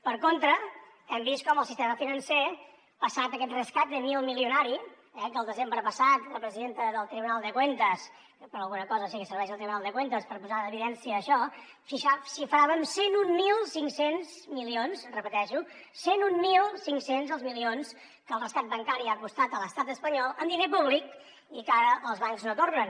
per contra hem vist com el sistema financer passat aquest rescat milmilionari eh que el desembre passat la presidenta del tribunal de cuentas que per alguna cosa sí que serveix el tribunal de cuentas per posar en evidència això xifrava en cent i mil cinc cents milions ho repeteixo cent i mil cinc cents els milions que el rescat bancari ha costat a l’estat espanyol amb diner públic i que ara els bancs no tornen